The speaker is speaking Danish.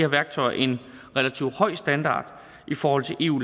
værktøjer en relativt høj standard i forhold til eu